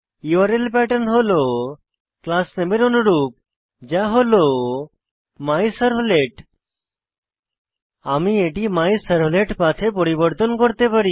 URL pattern হল class নামে এর অনুরূপ যা হল মাইসার্ভলেট আমরা এটি মাইসার্ভলেটপাঠ এ পরিবর্তন করতে পারি